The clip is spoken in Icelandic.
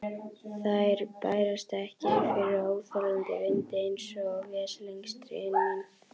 Þær bærast ekki fyrir óþolandi vindi, einsog veslings trén mín.